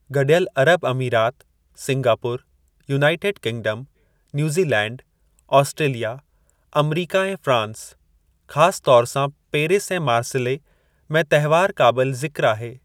गडि॒यलु अरब अमीरात, Singapore, United Kingdom, New Zealand, Australia, अमरीका ऐं फ्रांस (ख़ासि तौरु सां पेरिस ऐं मार्सिले) में तहिवारु क़ाबिलु ज़िक़्रु आहे।